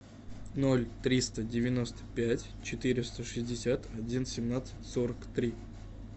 ноль триста девяносто пять четыреста шестьдесят один семнадцать сорок три